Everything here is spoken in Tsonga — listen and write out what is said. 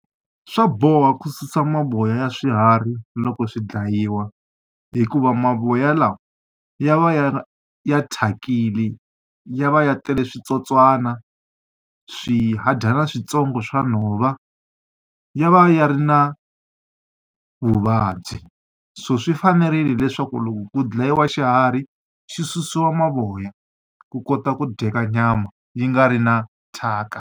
Swa boha ku susa mavoya ya swiharhi loko swi dlayiwa. Hikuva mavoya lawa ya va ya thyakile, ya va ya tele switsotswana, swihadyana switsongo swa nhova, ya va ya ri na vuvabyi. So swi fanerile leswaku loko ku dlayiwa xiharhi, xi susiwa mavoya ku kota ku dyeka nyama yi nga ri na thyaka.